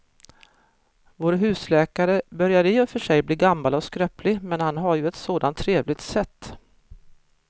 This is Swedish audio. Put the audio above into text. Vår husläkare börjar i och för sig bli gammal och skröplig, men han har ju ett sådant trevligt sätt!